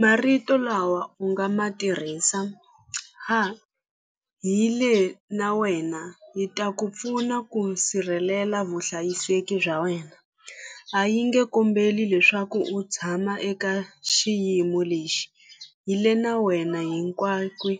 Marito lawa u nga ma tirhisa ha hi le na wena yi ta ku pfuna ku sirhelela vuhlayiseki bya wena a yi nge kombeli leswaku u tshama eka xiyimo lexi hi le na wena hinkwako hi